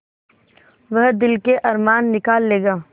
वह दिल के अरमान निकाल लेगा